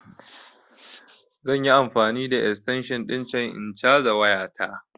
Zan yi amfani da extension ɗin can in caza waya ta